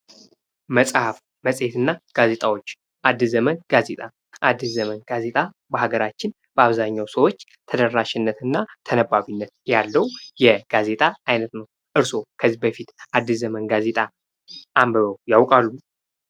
መጽሐፍ፣ መጽሔት እና ጋዜጣዎች:-አድስ ዘመን ጋዜጣ፦ አድስ ዘመን ጋዜጣ በሀገራችን በአብዛኛው ሰዎች ተደራሽነትና ተነባቢነት ያለው የጋዜጣ አይነት ነው። እርስዎ ከዚህ በፊት አድስ ዘመን ጋዜጣ አንብበው ያውቃሉ?